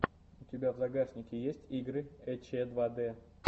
у тебя в загашнике есть игры эчедвадэ